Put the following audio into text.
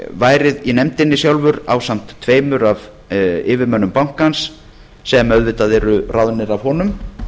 væri í nefndinni sjálfur ásamt tveimur af yfirmönnum bankans sem auðvitað eru ráðnir af honum